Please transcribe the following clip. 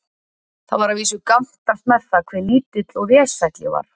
Það var að vísu gantast með það, hve lítill og vesæll ég væri.